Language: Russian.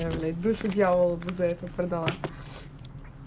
а блять душу дьяволу бы за это продала